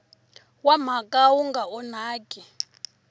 wa mhaka wu nga onhaki